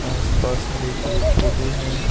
आस पास हरे पेड़ पौधे हैं।